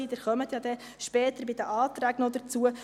Sie kommen ja dann später bei den Anträgen noch dazu: